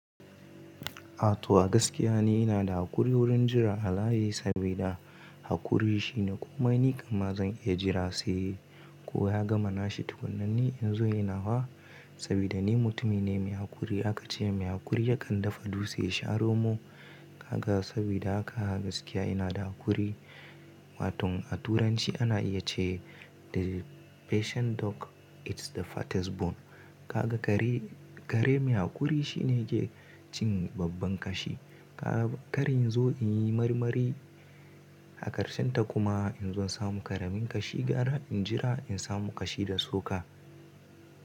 A to gaskiya ne ina da haƙuri wurin jira a layi saboda haƙuri shine komai ni kam ma zan iya jira sai kowa ya gama nashi tukuna ne in zo ina wa saboda ni mutumi ne mai haƙuri. Aka ce mai haƙuri yakan dafa dutse ya sha romo. Kaga saboda haka gaskiya ina da haƙuri. Wato a turanci ana iya ce the patient dog eats the fattest bone. Kaga kare mai haƙuri shine yake cin babban kashi. Karin in zo in yi marmari a ƙarshe ta kuma in zo samu ƙaramin kashi gara in jira in samu kashi da suka.